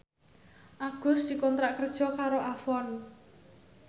Agus dikontrak kerja karo Avon